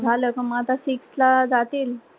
झाला का म आता sixth ला जातील